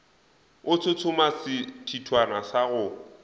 a tshotshoma sethithwana sa go